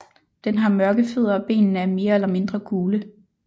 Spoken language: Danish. Den har mørke fødder og benene er mere eller mindre gule